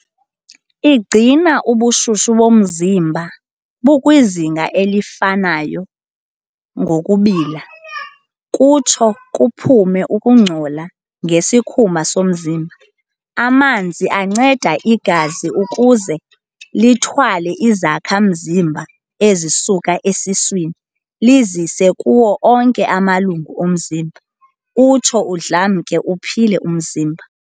Igcina ubushushu bomzimba bukwizinga elifanayo ngokubila, kutsho kuphume ukungcola ngesikhumba somzimba. Amanzi anceda igazi ukuze lithwale izakha-mzimba ezisuka esiswini lizise kuwo onke amalungu omzimba, utsho udlamke uphile umzimba.